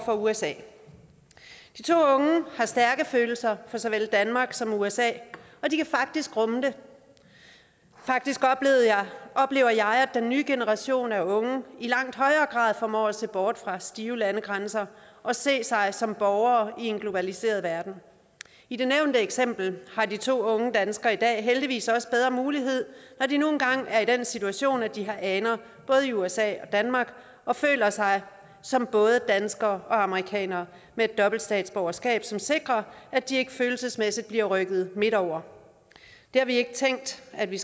for usa de to unge har stærke følelser for såvel danmark som usa og de kan faktisk rumme det faktisk oplever jeg at den nye generation af unge i langt højere grad formår at se bort fra stive landegrænser og se sig som borgere i en globaliseret verden i det nævnte eksempel har de to unge danskere i dag heldigvis også bedre muligheder når de nu engang er i den situation at de har aner både i usa og danmark og føler sig som både danskere og amerikanere med et dobbelt statsborgerskab som sikrer at de ikke følelsesmæssigt bliver rykket midt over det har vi ikke tænkt at vi